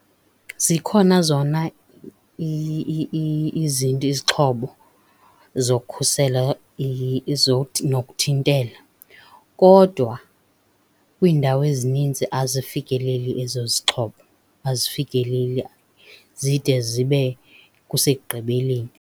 Zikhona zona izinto, izixhobo zokhusela nokuthintela. Kodwa kwiindawo ezininzi azifikeleli ezo zixhobo, azifikeleli, zide zibe kusekugqibeleni.